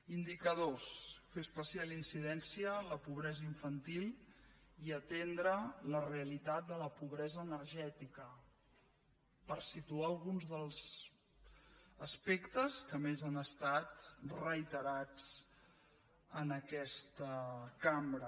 indicadors fer especial incidència en la pobresa infantil i atendre la realitat de la pobresa energètica per situar alguns dels aspectes que més han estat reiterats en aquesta cambra